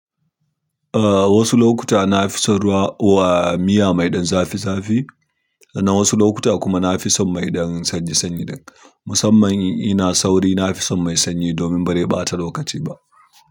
Ah wasu lokuta na fi son ruwa uwa miya maiɗan zafi zafi, sannan wasu lokuta kuma na fi son mai ɗan sanyi sanyi ɗib. Musamman in ina sauri, na fi son mai sanyi domin bare ɓata lokaci ba.